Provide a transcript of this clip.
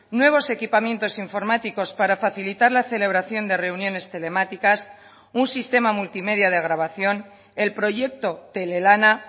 nuevos equipamientos informáticos para facilitar la celebración de reuniones telemáticas un sistema multimedia de grabación el proyecto telelana